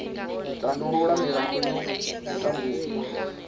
tandulula milandu ya u tambudzwa